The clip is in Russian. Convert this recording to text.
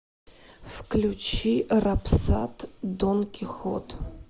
включи рапсат дон кихот